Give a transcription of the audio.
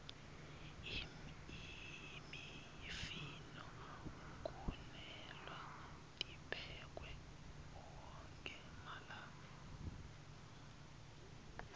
imifino kumelwe tiphekwe onkhe malanga